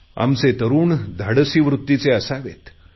आमचे तरुण धाडसी वृत्तीचे असावेत